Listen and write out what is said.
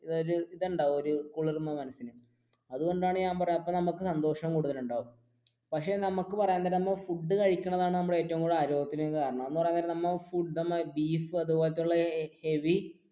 ഒരു ഇതുണ്ടാകും കുളിർമ അതുകൊണ്ടാണ് അപ്പൊ നമുക്ക് സന്തോഷം കൂടുതൽ ഉണ്ടാവും പക്ഷെ നമുക്ക് ഫുഡ് കഴിക്കുന്നതാണ് നമ്മുടെ ആരോഗ്യത്തിന് കാരണം അന്ന് പറയാൻ നേരം ബീഫ് അതുപോലത്തെയുള്ള heavy